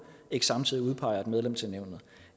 ikke samtidig udpeger et medlem til nævnet